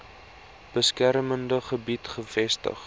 beskermde gebied gevestig